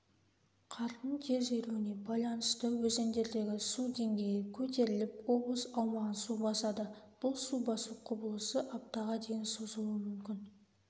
қардың тез еруіне байланысты өзендердегі су деңгейі көтеріліп облыс аумағын су басады бұл су басу құбылысы аптаға дейін созылуы мүмкін